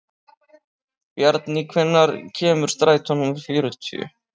Bjarný, hvenær kemur strætó númer fjörutíu?